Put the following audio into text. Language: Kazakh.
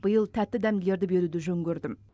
биыл тәтті дәмділерді беруді жөн көрдім